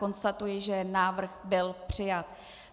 Konstatuji, že návrh byl přijat.